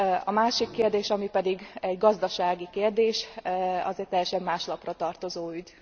A másik kérdés, ami pedig egy gazdasági kérdés, az egy teljesen más lapra tartozó ügy.